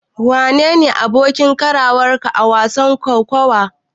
Wane ne abokin karawarka a wasan kokawar?